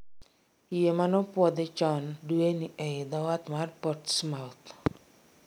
yie mano puodh chon dueni ei dhoo wath ma Portsmouth